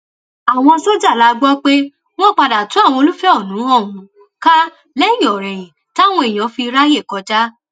àwọn sójà la gbọ pé wọn padà tu àwọn olùfẹhónú ọhún ká lẹyìnòrẹyìn táwọn èèyàn fi ráàyè kọjá